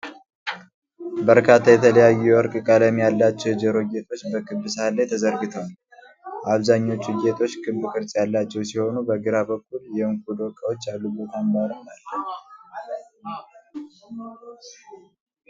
በርካታ የተለያዩ የወርቅ ቀለም ያላቸው የጆሮ ጌጦች በክብ ሳህን ላይ ተዘርግተዋል። አብዛኞቹ ጌጦች ክብ ቅርጽ ያላቸው ሲሆኑ፣ በግራ በኩል የዕንቁ ዶቃዎች ያሉበት አምባርም አለ።